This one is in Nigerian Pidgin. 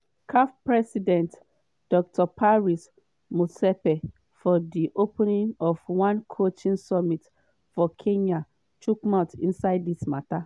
caf president dr patrice motsepe for di opening of one coaching summit for kenya chook mouth inside dis mata.